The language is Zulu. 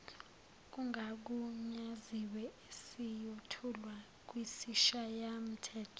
kungagunyaziwe esiyothulwa kwisishayamthetho